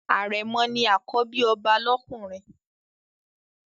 Àrẹ̀mọ̀ ni àkọ́bí ọba lọ́kùnrin.